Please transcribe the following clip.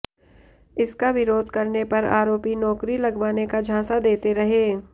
इसका विरोध करने पर आरोपी नौकरी लगवाने का झांसा देते रहे